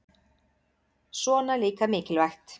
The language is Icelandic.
Svona líka mikilvægt